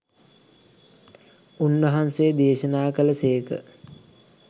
උන්වහන්සේ දේශනා කළ සේක.